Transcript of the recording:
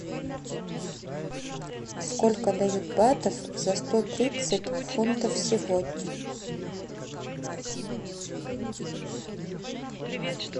сколько дают батов за сто тридцать фунтов сегодня